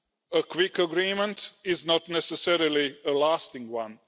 A quick agreement is not necessarily a lasting one.